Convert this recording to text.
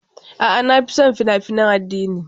A'a, na fi son fina-finan addini.